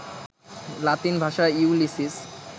লাতিন ভাষায় ইউলিসিস